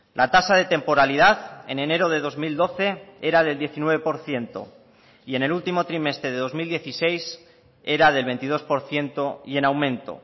la tasa de temporalidad en enero de dos mil doce era de diecinueve por ciento y en el último trimestre de dos mil dieciséis era del veintidós por ciento y en aumento